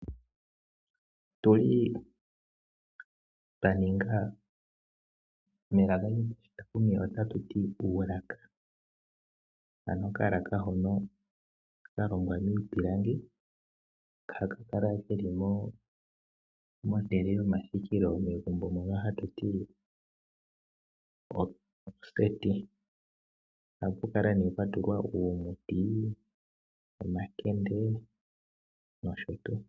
Otuli twa ninga melaka lyoshitakumi ota tu ti okalaka. Ano okalaka hono ka longwa miipilangi ohaka kala keli mehala lyomathikilo mono hatu ti oseti, ohapu kala ne mpwa tulwa uumuti nomakende noshotu.